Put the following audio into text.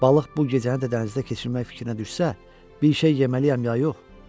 Balıq bu gecəni də dənizdə keçirmək fikrinə düşsə, bir şey yeməliyəm ya yox?